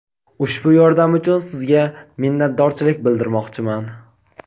Ushbu yordam uchun sizga minnatdorchilik bildirmoqchiman.